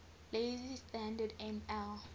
lazy standard ml